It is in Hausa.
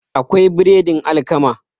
akwai biredin alkama